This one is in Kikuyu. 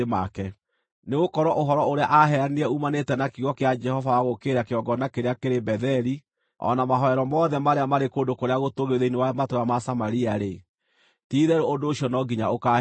Nĩgũkorwo ũhoro ũrĩa aaheanire uumanĩte na kiugo kĩa Jehova wa gũũkĩrĩra kĩgongona kĩrĩa kĩrĩ Betheli o na mahooero mothe marĩa maarĩ kũndũ kũrĩa gũtũũgĩru thĩinĩ wa matũũra ma Samaria-rĩ, ti-itherũ ũndũ ũcio no nginya ũkaahingio.”